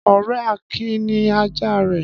Ọ̀rẹ́ Akin ní ajá rẹ̀.